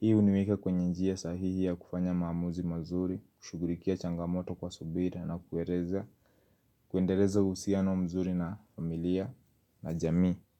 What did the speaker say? Hii huniweka kwenye njia sahihi ya kufanya maamuzi mazuri, kushughulikia changamoto kwa subira na kueleza. Kuendeleza uhusiano mzuri na familia na jamii.